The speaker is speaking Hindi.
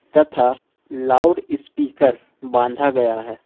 तथा लाउडस्पीकर बांधा गया है।